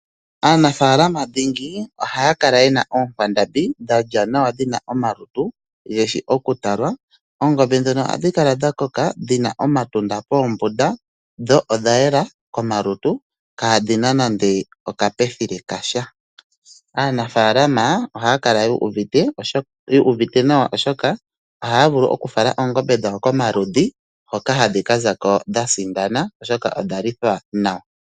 Aanafaalama dhingi ohaya kala ye na oonkwandambi dha lya nawa dhi na omalutu ge shi okutalwa. Oongombe ndhono ohadhi kala dha koka dhi na omatunda poombunda dho odha yela komalutu kaa dhi na nando okaposho kasha. Aanafaalama ohaya kala yu uvite nawa, oshoka ohaya vulu okufala oongombe dhawo komaludhi hoka hadhi ka za ko dha sindana, oshoka odha lithwa nawa.